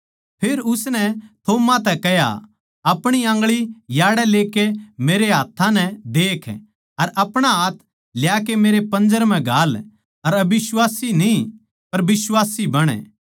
फेर उसनै थोमा तै कह्या अपणी आंगळी याड़ै ल्याकै मेरै हाथ्थां नै देख अर अपणा हाथ ल्याकै मेरै पंजर म्ह घाल अर अबिश्वासी न्ही पर बिश्वासी बण